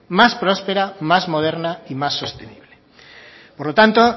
más prospera más moderna y más sostenible por lo tanto